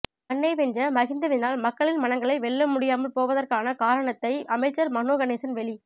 மண்ணை வென்ற மஹிந்தவினால் மக்களின் மனங்களை வெல்ல முடியாமல் போதற்கான காரணத்தை அமைச்சர் மனோ கணேசன் வெளி